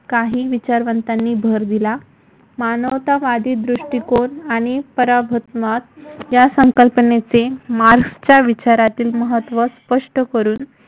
काही विचारवंतांनी भर दिला. मानवतावादी दृष्टिकोन आणि पराभूत मात या संकल्पनेचे मार्क्सच्या विचारातील महत्त्व स्पष्ट करून